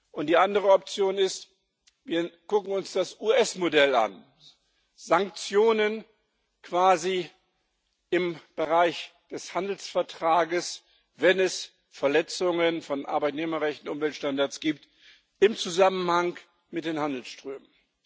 Und die andere Option ist Wir gucken uns das US Modell an, Sanktionen quasi im Bereich des Handelsvertrags, wenn es Verletzungen von Arbeitnehmerrechten oder Umweltstandards gibt im Zusammenhang mit den Handelsströmen.